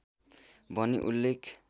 भनी उल्लेख